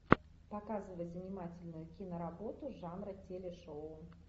показывай занимательную киноработу жанра телешоу